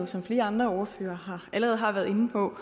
som flere andre ordførere allerede har været inde på